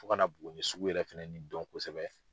Fo kana Buguni sugu yɛrɛ fɛnɛni dɔn kosɛbɛ.